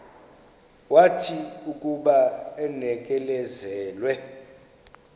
wathi akuba enikezelwe